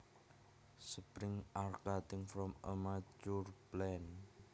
Sprigs are cuttings from a mature plant